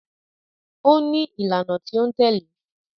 Ó ní ìlànà tí ó ń tẹ̀lé